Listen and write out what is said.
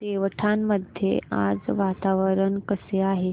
देवठाण मध्ये आज वातावरण कसे आहे